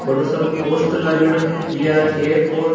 बड़ा सारा पोस्टर लागयेड़ो है वी आर केयर फॉर --